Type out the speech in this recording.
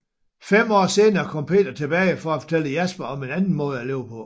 Fem år senere kom Peter tilbage for at fortælle Jasper om en anden måde at leve på